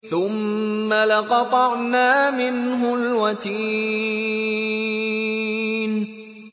ثُمَّ لَقَطَعْنَا مِنْهُ الْوَتِينَ